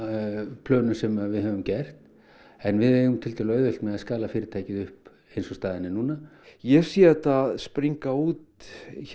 plönum sem við höfum gert en við eigum tiltölulega auðvelt með að skala fyrirtækið upp eins og staðan er núna ég sé þetta springa út